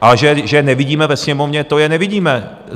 A že je nevidíme ve Sněmovně, to je nevidíme.